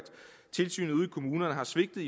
tilsynet ude i kommunerne har svigtet